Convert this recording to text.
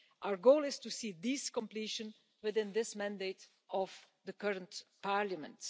Our goal is to see this completed within this mandate of the current Parliament.